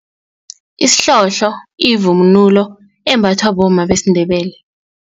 Isihlohlo yivunulo embathwa bomma besiNdebele.